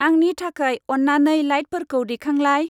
आंनि थाखाय अन्नानै लाइटफोरखौ दैखांलाय।